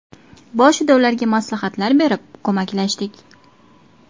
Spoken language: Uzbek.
Boshida ularga maslahatlar berib, ko‘maklashdik.